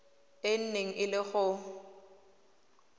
e neng e le go